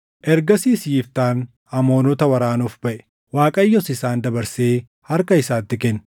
Ergasiis Yiftaan Amoonota waraanuuf baʼe; Waaqayyos isaan dabarsee harka isaatti kenne.